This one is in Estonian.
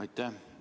Aitäh!